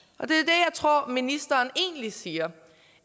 tror ministeren egentlig siger